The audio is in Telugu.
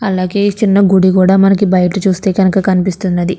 అలాగే చిన్న గుడి కూడా మనకి బయట చూస్తే కనుక కనిపిస్తున్నది.